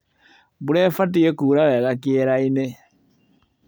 Mbura ĩbatie kura wega kĩerainĩ.